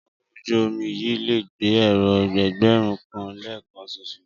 Ọkọ̀ ojú-omi yìí lè gba èrò ẹgbẹ̀rún kan lẹ́ẹ̀kan ṣoṣo